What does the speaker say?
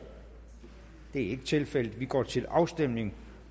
det er ikke tilfældet vi går til afstemning